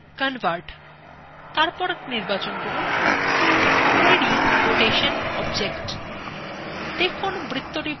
thenclick করে context menu তে then এবং নির্বাচন করুন convert এরপর নির্বাচন করুন to 3d রোটেশন object